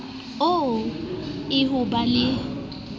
oo e ho ba le